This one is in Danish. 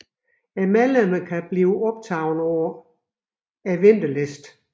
Medlemmerne kan blive optaget på ventelisten